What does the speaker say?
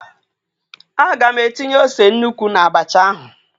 A ga m etinye ose nnukwu na-abacha ahụ.